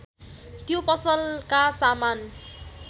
त्यो पसलका सामान